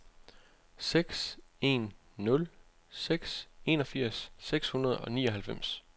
seks en nul seks enogfirs seks hundrede og nioghalvfems